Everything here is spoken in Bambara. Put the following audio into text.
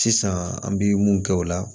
Sisan an bi mun kɛ o la